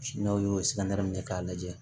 N'aw y'o kɛ k'a lajɛ